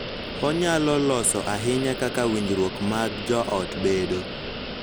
Onyalo loso ahinya kaka winjruok mag joot bedo.